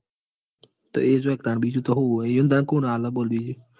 તો એજ હોયન તન બીજું સુ હોય ઈઓન તાન કોણ આલ બીજું?